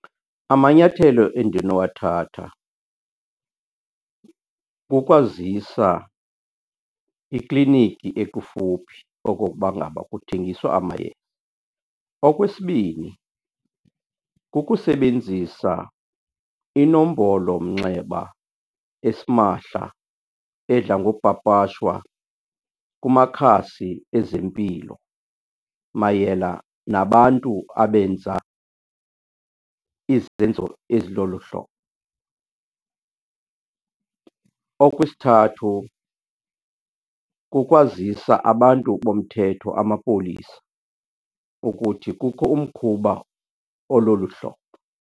Amanyathelo endinowathatha kukwazisa ikliniki ekufuphi okokuba ngaba kuthengiswa . Okwesibini, kukusebenzisa inombolomnxeba esimahla edla ngopapashwa kumakhasi ezempilo mayela nabantu abenza izenzo ezilolu hlobo. Okwesithathu, kukwazisa abantu bomthetho, amapolisa, ukuthi kukho umkhuba ololu hlobo.